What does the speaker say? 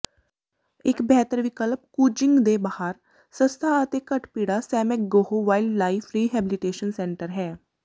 ਇੱਕ ਬਿਹਤਰ ਵਿਕਲਪ ਕੁਚੀਿੰਗ ਦੇ ਬਾਹਰ ਸਸਤਾ ਅਤੇ ਘੱਟ ਭੀੜਾ ਸੈਮੈਗਗੋਹ ਵਾਈਲਡਲਾਈਫ ਰੀਹੈਬਲੀਟੇਸ਼ਨ ਸੈਂਟਰ ਹੈ